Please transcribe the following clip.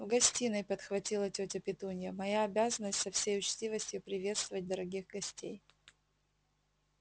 в гостиной подхватила тётя петунья моя обязанность со всей учтивостью приветствовать дорогих гостей